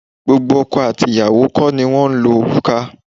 Gbogbo ọkọ àti ìyàwó kó ni wọ́n ń lo òrùka.